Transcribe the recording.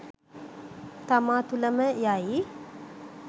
තමා තුළ ම ය යි